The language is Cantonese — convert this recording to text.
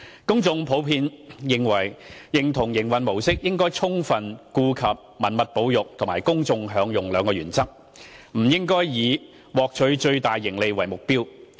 公眾普遍認同營運模式應充分顧及文物保育及公眾享用兩項原則，不應以獲取最大盈利為目標。